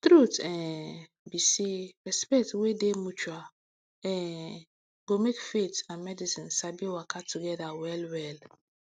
truth um be say respect wey dey mutual um go make faith and medicine sabi waka together wellwell